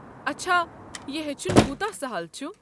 اچھا، یہِ ہیٚچھُن کوتاہ سہل چھُ؟